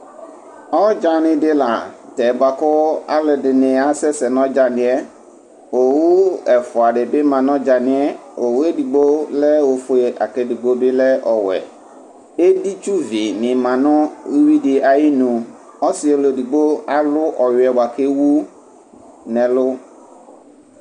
Ɔdzani dila nʋ tɛ bʋakʋ alʋɛdini asɛsɛ nʋ ɔdzani yɛ owʋ ɛfʋa dibi manʋ ɔdzani yɛ owʋ edigbo lɛ ofʋe lakʋ edigbo bilɛ ɔwɛ editsuvi ni manʋ uwui di ayinʋ ɔsi ɔlʋ edigbo alʋ ɔwiɛ bʋakʋ ewu nʋ ɛlʋ